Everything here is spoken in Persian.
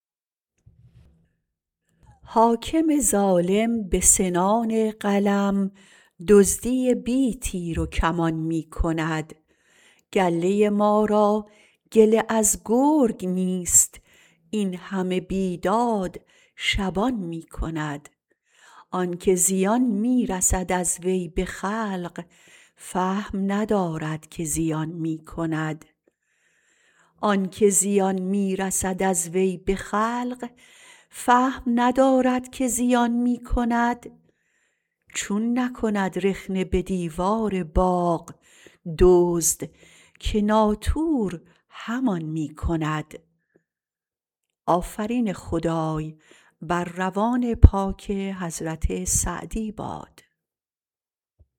حاکم ظالم به سنان قلم دزدی بی تیروکمان می کند گله ما را گله از گرگ نیست این همه بی داد شبان می کند آن که زیان می رسد از وی به خلق فهم ندارد که زیان می کند چون نکند رخنه به دیوار باغ دزد که ناطور همان می کند